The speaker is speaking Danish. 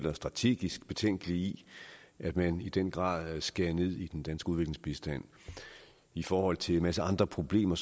og strategisk betænkelige i at man i den grad skærer ned på den danske udviklingsbistand i forhold til en masse andre problemer